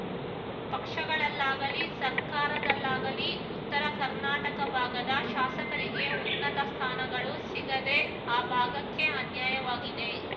ಪಕ್ಷಗಳಲ್ಲಾಗಲಿ ಸರ್ಕಾರದಲ್ಲಾಗಲಿ ಉತ್ತರ ಕರ್ನಾಟಕ ಭಾಗದ ಶಾಸಕರಿಗೆ ಉನ್ನತ ಸ್ಥಾನಗಳು ಸಿಗದೆ ಆ ಭಾಗಕ್ಕೆ ಅನ್ಯಾಯವಾಗಿದೆ